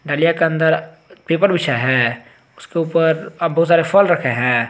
डालियां के अंदर पेपर बिछाया है उसके ऊपर आ बहुत सारे फल रखे हैं।